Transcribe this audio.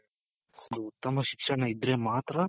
ಒಂದು ಉತ್ತಮ ಶಿಕ್ಷಣ ಇದ್ರೆ ಮಾತ್ರ